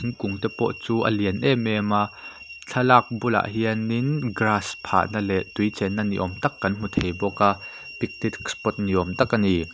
kung te pawh chun lian em em a thlalak bulah hian min grass pha na leh tui chenna ni awm tak kan hmu thei bawk a pik picnic spot ni awm tak a ni.